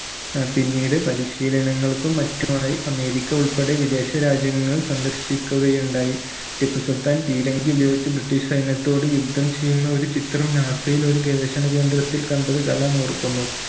ആഹ് പിന്നീട് പരിശീനലങ്ങൾക്കും മറ്റുമായി അമേരിക്ക ഉൾപ്പെടെ വിദേശ രാജ്യങ്ങൾ സന്ദർശിക്കുകയുണ്ടായി ടിപ്പു സുൽതാൻ പീരങ്കി ഉപയോഗിച്ച് british സൈന്യത്തോട് യുദ്ധം ചെയ്യുന്ന ഒരു ചിത്രം NASA യിൽ ഒരു ഗവേഷണകേന്ദ്രത്തിൽ കണ്ടത് കലാം ഓർക്കുന്നു